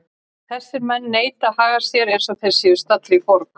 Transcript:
Þessir menn neita að haga sér eins og þeir séu staddir í borg.